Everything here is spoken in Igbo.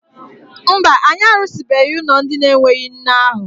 Mba, anyị arụsịbeghị ụlọ ndị enweghị nne ahụ.